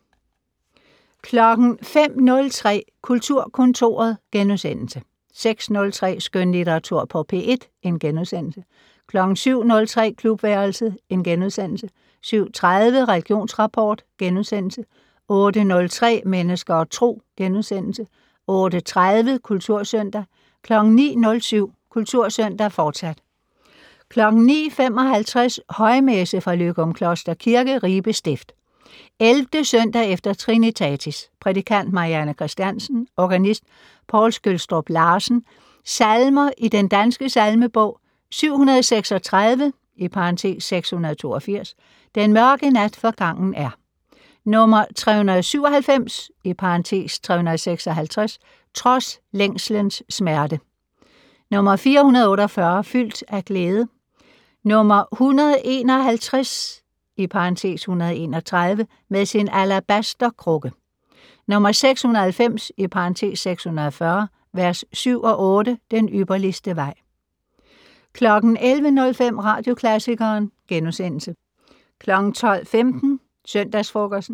05:03: Kulturkontoret * 06:03: Skønlitteratur på P1 * 07:03: Klubværelset * 07:30: Religionsrapport * 08:03: Mennesker og Tro * 08:30: Kultursøndag 09:07: Kultursøndag, fortsat 09:55: Højmesse - Løgumkloster Kirke, Ribe Stift. 11. søndag efter trinitatis. Prædikant: Marianne Christiansen. Organist: Poul Skjølstrup Larsen. Salmer i Den Danske Salmebog: 736 (682). "Den mørke nat forgangen er". 397 (356). "Trods længselens smerte". 448 "Fyldt af glæde". 151 (131). "Med sin alabaster-krukke". 690 (604). v. 7-8 "Den ypperligste vej". 11:05: Radioklassikeren * 12:15: Søndagsfrokosten